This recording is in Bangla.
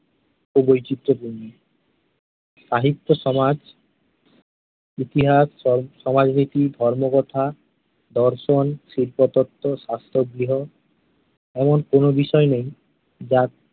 ও বৈচিত্র্যপূর্ণ । সাহিত্য সমাজ, ইতিহাস, সমাজ নীতি, ধর্মকথা, দর্শন, শিল্পতত্ত্ব, শাস্ত্র গৃহ এমন কোন বিষয় নেই যা